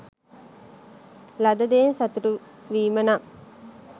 ලද දෙයින් සතුටු වීම නම්